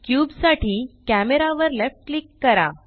cube साठी camera वर left click करा